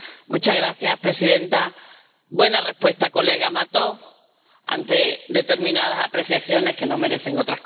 Señora presidenta. Buena respuesta, señor Mato, ante determinadas apreciaciones que no merecen otras cosas.